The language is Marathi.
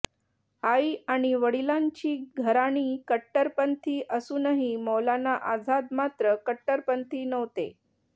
आई आणि वडिलांची घराणी कट्टरपंथी असूनही मौलाना आझाद मात्र कट्टरपंथी नव्हते